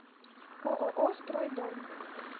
ооо стройдом